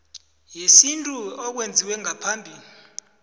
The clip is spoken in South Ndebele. yesintu okwenziwe ngaphambi